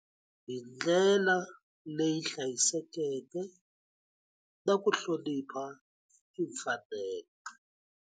Hindlela leyi hlayisekeke na ku hlonipha timfanelo.